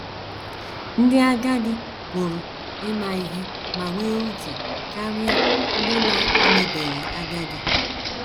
Ndị agadi pụrụ ịma ihe ma nwee uche karịa ndị na - emebeghị agadi.